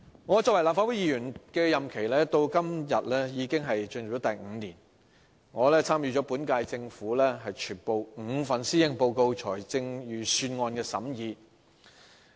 我作為立法會議員的任期現已進入第五年，我參與了本屆政府全部5份施政報告和5份財政預算案的審議。